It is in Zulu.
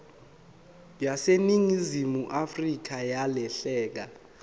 yaseningizimu afrika yalahleka